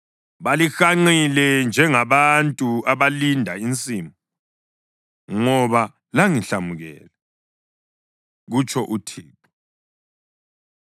Balihanqile njengabantu abalinda insimu, ngoba langihlamukela,” kutsho uThixo.